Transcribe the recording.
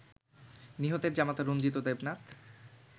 নিহতের জামাতা রঞ্জিত দেবনাথ